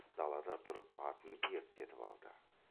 далада тұрып атын ерттетіп алды